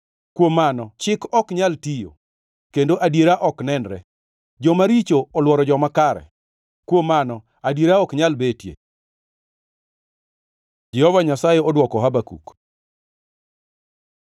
Kuom mano chik ok nyal tiyo, kendo adiera ok nenre. Joma richo olworo joma kare, kuom mano adiera ok nyal betie. Jehova Nyasaye odwoko Habakuk